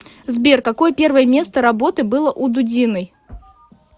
сбер какое первое место работы было у дудиной